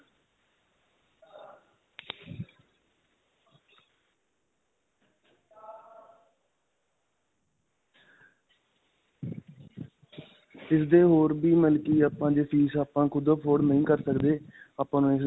ਇਸਦੇ ਹੋਰ ਵੀ ਬਲਕਿ ਆਪਾਂ ਜੇ ਫੀਸ ਆਪਾਂ ਖੁੱਦ afford ਨਹੀਂ ਕਰ ਸਕਦੇ ਆਪਾਂ ਨੂੰ